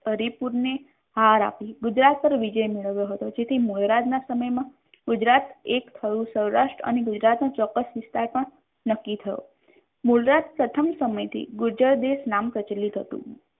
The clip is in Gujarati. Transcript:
સરી પુરીને હાર આપી ગુજરાત પર વિજય મેળવ્યો હતો જેથી મુળરાજના સમયમાં ગુજરાત એક થયું સૌરાષ્ટ્ર અને ગુજરાતનું ચોક્કસ વિસ્તાર પણ નક્કી થયો મૂળરાજ પ્રથમ સમયથી ગુર્જર દેશ નામ પ્રચલિત હતું.